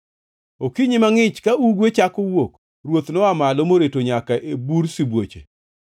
Okinyi mangʼich ka ugwe chako wuok, ruoth noa malo moreto nyaka e bur sibuoche.